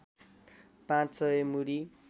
पाँच सय मुरी